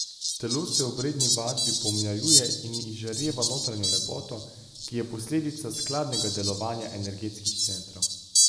Telo se ob redni vadbi pomlajuje in izžareva notranjo lepoto, ki je posledica skladnega delovanja energetskih centrov.